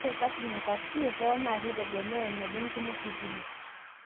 Ore parking e taxi. hoo naa keitegemea eneba enkima ositima.